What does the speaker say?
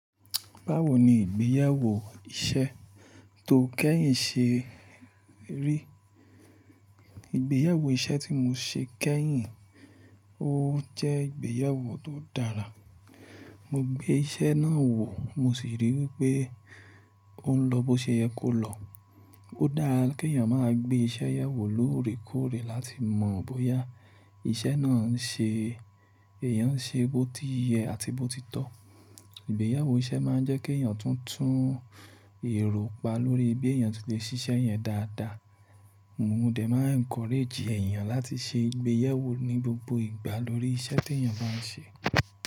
Báwo ni ìgbéyàwó iṣẹ́ tó kẹ́yìn ṣe rí? Ìgbéyàwó iṣẹ́ tí mo ṣe kẹ́yìn, ó jẹ́ ìgbéyàwó tó dára. Mo gbé iṣẹ́ náà wò, mo sì ríi wípé ó ń lọ bó ṣe yẹ kó lọ. Ó dára kí èèyàn máa gbé iṣẹ́ ye wò lóòrèkóòrè láti mọ̀ bóyá iṣẹ́ náà ń ṣe, èèyàn ń ṣe bó ti ye àti bó ti tọ́. Ìgbéyewó iṣẹ́ máa ń jẹ́ kí èèyàn túntún èrò pa lórí bí èèyàn ti lè ṣíṣẹ́ yẹn dáadáa. Mo dẹ̀ máa encourage èèyàn láti ṣe ìgbéyewó ní gbogbo ìgbà lórí iṣẹ́ tí èèyàn bá ń ṣe.